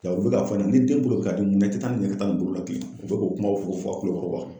u bɛ ka fɔ a ɲɛna ni den bolo bi ka dimi mun na, i tɛ taa u bi k'o kumaw fɔ fɔ a kulukɔrɔ